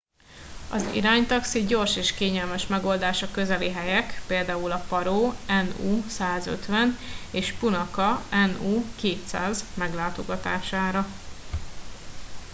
az iránytaxi gyors és kényelmes megoldás a közeli helyek - például a paro nu 150 és punakha nu 200 - meglátogatására